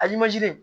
A